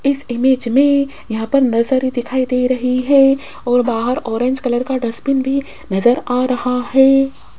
इस इमेज मे यहां पर नर्सरी दिखाई दे रही है और बाहर ऑरेंज कलर का डस्टबिन भी नजर आ रहा है।